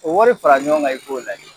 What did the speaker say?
O wari fara ɲɔgɔn kan i k'o lajɛ.